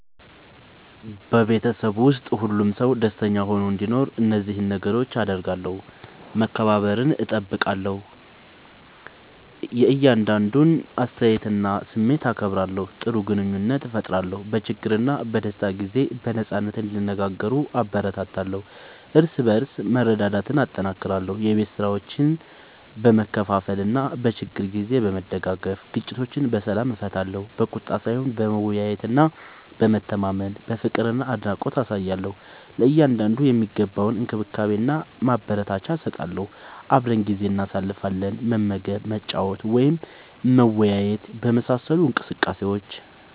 በቤተሰብ ውስጥ ሁሉም ሰው ደስተኛ ሆኖ እንዲኖር እነዚህን ነገሮች አደርጋለሁ፦ መከባበርን እጠብቃለሁ – የእያንዳንዱን አስተያየትና ስሜት አከብራለሁ። ጥሩ ግንኙነት እፈጥራለሁ – በችግርና በደስታ ጊዜ በነጻነት እንዲነጋገሩ እበረታታለሁ። እርስ በርስ መረዳዳትን እጠናክራለሁ – የቤት ስራዎችን በመካፈል እና በችግር ጊዜ በመደጋገፍ። ግጭቶችን በሰላም እፈታለሁ – በቁጣ ሳይሆን በመወያየትና በመተማመን። ፍቅርና አድናቆት አሳያለሁ – ለእያንዳንዱ የሚገባውን እንክብካቤና አበረታቻ እሰጣለሁ። አብረን ጊዜ እናሳልፋለን – መመገብ፣ መጫወት ወይም መወያየት በመሳሰሉ እንቅስቃሴዎች።